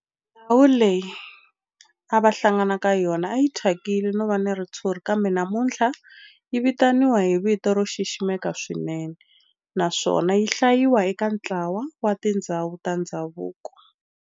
Ndhawu leyi a va hlangana ka yona a yi thyakile no va na ritshuri kambe namuntlha yi vitaniwa hi vito ro xiximeka swinene naswona yi hlayiwa eka ntlawa wa tindhawu ta ndhavuko.